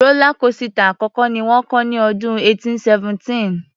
Rọ́lá kósità àkọ́kọ́ ni wọ́n kọ́ ní ọdún 1817.